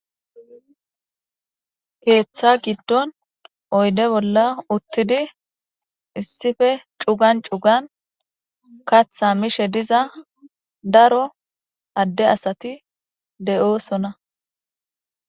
Keeththa giddon oyde bolla uttidi issife cugan cugan kaththa mishe diza daro adde asati de'oosona.